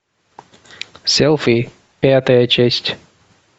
селфи пятая часть